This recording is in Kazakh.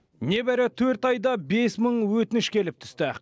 небәрі төрт айда бес мың өтініш келіп түсті